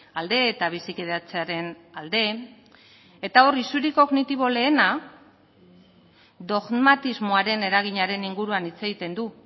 alde eta bizikidetzaren alde eta hor isuri kognitibo lehena dogmatismoaren eraginaren inguruan hitz egiten du